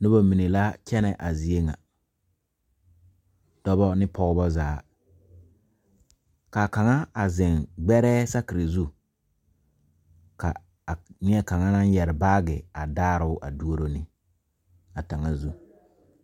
Nobɔ mine la kyɛnɛ a zie ŋa dɔbɔ ne pɔɔbɔ zaa kaa kaŋa a zeŋ gbɛrɛɛ sakire zu ka a nie kaŋa naŋ yɛre baagi a daaroo a duoro ne a taŋa zu.